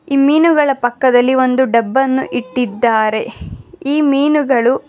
ಈ ಮೀನುಗಳ ಪಕ್ಕದಲ್ಲಿ ಒಂದು ಡಬ್ಬ ಅನ್ನು ಇಟ್ಟಿದ್ದಾರೆ ಈ ಮೀನುಗಳು--